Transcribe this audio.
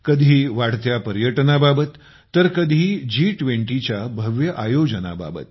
कधी वाढत्या पर्यटनाबाबत तर कधी जी20 च्या भव्य आयोजनाबाबत